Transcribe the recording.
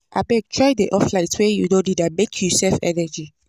Abeg try dey off light wen you no need am make you save energy.